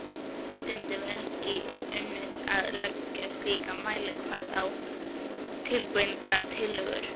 Stundum er ekki unnt að leggja slíkan mælikvarða á breytingatillögur.